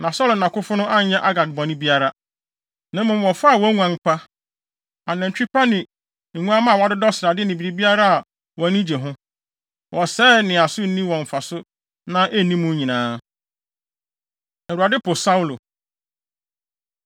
Na Saulo ne nʼakofo no anyɛ Agag bɔne biara, na mmom wɔfaa wɔn nguan pa, anantwi pa ne anantwi ne nguamma a wɔadodɔ srade ne biribiara a wɔn ani gye ho. Wɔsɛee nea so nni wɔn mfaso na enni mu nyinaa. Awurade Po Saulo